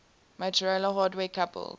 motorola hardware coupled